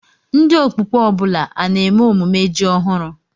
Ndị Okpukpe ọ bụla a na-eme emume ji ọhụrụ?